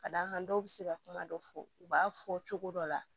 Ka d'a kan dɔw bɛ se ka kuma dɔ fɔ u b'a fɔ cogo dɔ la